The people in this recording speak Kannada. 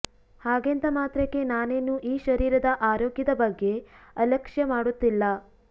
ಹಾಗೆಂದ ಮಾತ್ರಕ್ಕೆ ನಾನೇನು ಈ ಶರೀರದ ಆರೋಗ್ಯದ ಬಗ್ಗೆ ಅಲಕ್ಷ್ಯ ಮಾಡುತ್ತಿಲ್ಲ